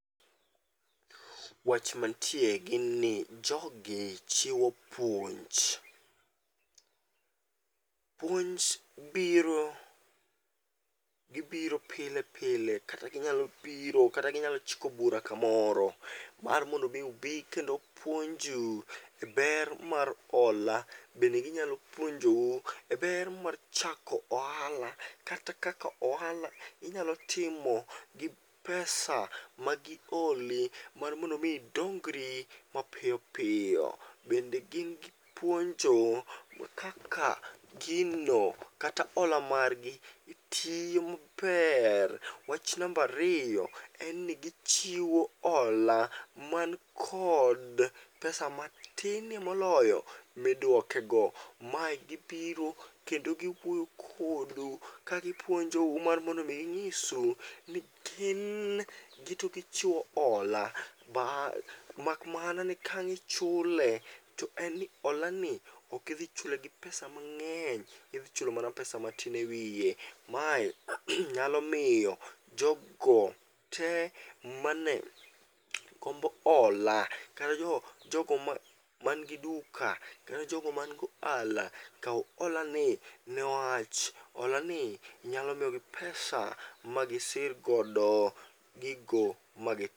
Wach mantie gin ni jogi chiwo puonj. Puonj biro, gibiro pile pile kata ginyalo biro kata ginyalo chiko bura kamoro mar mondo mi ubi kendo puonju e ber mar hola. Bende ginyalo puonjou e ber mar chako ohala, kata kaka ohala inyalo timo gi pesa ma giholi mar mondo mi idongri mapiyopiyo. Bende gin gi puonjo ma kaka gino kata hola margi tiyo maber. Wach nambariyo en ni gichiwo hola man kod pesa matine moloyo midwoke go. Mae gibiro kendo giwuoyo kodu ka gipuonjou mar mondo mi ginyisu ni tin gi to gichiwo hola. Makmana ni kaang'a ichule, to en ni hola ni okidhichule gi pesa mang'eny, idhichulo mana pesa matin e wiye. Mae nyalo miyo jogo te mane gombo hola, kata jogo, jogo man gi duka, kata jogo man go ohala, kaw hola ni newach hola ni nyalo miyogi pesa magisirgodo gigo magi.